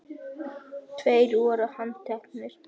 Tveir voru handtekni